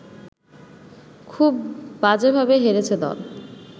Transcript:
খুব বাজেভাবে হেরেছে দল